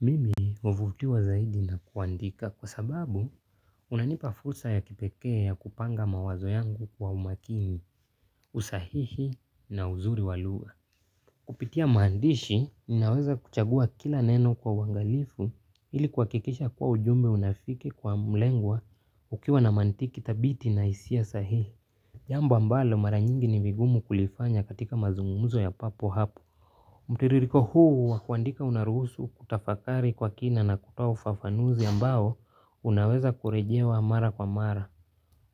Mimi huvutiwa zaidi na kuandika kwa sababu kunanipa fursa ya kipekee ya kupanga mawazo yangu kwa umakini, usahihi na uzuri wa lugha. Kupitia maandishi, ninaweza kuchagua kila neno kwa uangalifu ili kuhakikisha kuwa ujumbe unafika kwa mlengwa ukiwa na mantiki thabiti na hisia sahihi. Jambo ambalo mara nyingi ni vigumu kulifanya katika mazungumzo ya papo hapo. Mtiririko huu wa kuandika unaruhusu kutafakari kwa kina na kutoa ufafanuzi ambao unaweza kurejewa mara kwa mara.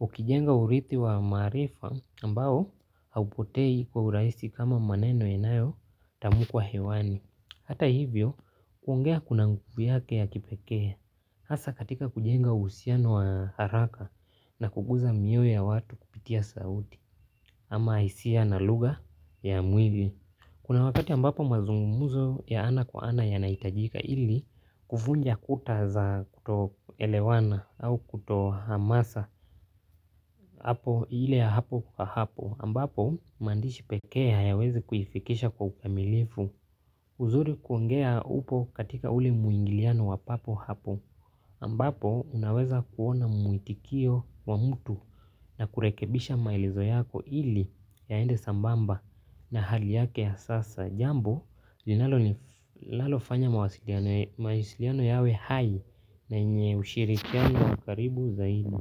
Ukijenga urithi wa maarifa ambao haupotei kwa urahisi kama maneno inayotamkwa hewani. Hata hivyo kuongea kuna nguvu yake ya kipekee. Hasa katika kujenga uhusiano wa haraka na kukuza mioyo ya watu kupitia sauti ama hisia na lugha ya mwili. Kuna wakati ambapo mazungumzo ya ana kwa ana yanahitajika ili kuvunja kuta za kutoelewana au kutohamasa hapo ile ya hapo kwa hapo ambapo maandishi pekee hayawezi kuifikisha kwa ukamilifu. Uzuri kuongea upo katika uli mwingiliano wa papo hapo, ambapo unaweza kuona muitikio wa mtu na kurekebisha maelezo yako ili yaende sambamba na hali yake ya sasa. Jambo, linalofanya mawasiliano yawe hai na yenye ushirikiano karibu zaidi.